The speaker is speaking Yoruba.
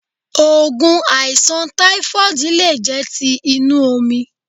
Ògùn àìsàn táífọ́ọ̀dù lé jẹ́ ti inú omi